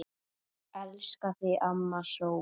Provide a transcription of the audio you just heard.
Elska þig, amma sól.